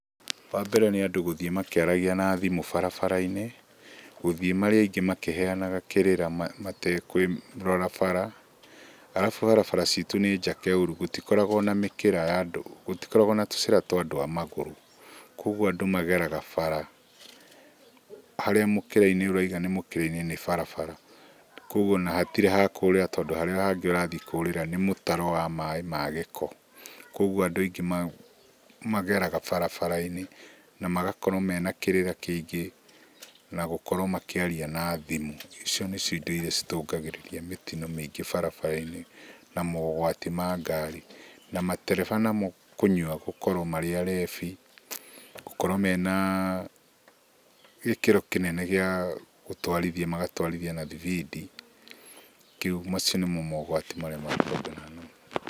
Wambere nĩ andũ gũthiĩ makĩaragia na thimũ barabara-inĩ. Gũthiĩ marĩ aingĩ makĩheanaga kĩrĩra matekũrora bara. Arabu barabara citũ nĩ njake ũru gũtikoragwo na mĩkĩra ya andũ, gũtikoragwo na tũcĩra twa andũ a magũrũ. Kuoguo andũ mageraga bara, harĩa mũkĩra-inĩ ũrauga nĩ mũkĩra-inĩ nĩ barabara, kuoguo ona hatirĩ hakũrĩra tondũ harĩa hangĩ ũrathiĩ kũrĩra nĩ mũtaro wa maĩ ma gĩko. Kuoguo andũ aingĩ mageraga bara-inĩ, na magakorwo mena kĩrĩra kĩingĩ na gũkorwo makĩaria na thimũ. Icio nĩcio indo iria ithũkagĩrĩria mĩtino mĩingĩ barabara-inĩ, na mogwati ma ngari. Na matereba namo kũnyua gũkorwo marĩ arebi, gũkorwo mena gĩkĩro kĩnene gĩa gũtwarithia, magatwarithia na thibidi. Kĩu, macio nĩmo mogwati marĩa matũnganaga namo.